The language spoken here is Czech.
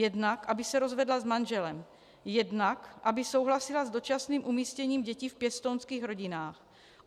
Jednak aby se rozvedla s manželem, jednak aby souhlasila s dočasným umístěním dětí v pěstounských rodinách.